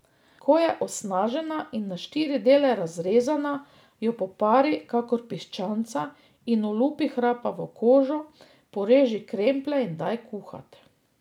Ko je osnažena in na štiri dele razrezana, jo popari kakor piščanca in olupi hrapavo kožo, poreži kremplje in daj kuhat.